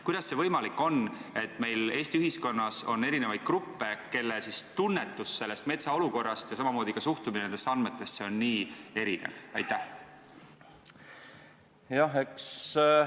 Kuidas see võimalik on, et Eesti ühiskonnas on erisuguseid gruppe, kelle tunnetus metsa olukorrast ja samamoodi suhtumine nendesse andmetesse on niivõrd erinev?